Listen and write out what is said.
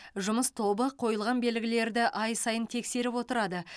жұмыс тобы қойылған белгілерді ай сайын тексеріп отырады